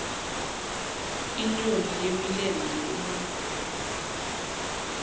inyoni yemilenze emide